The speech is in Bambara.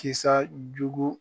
Kisa jugu.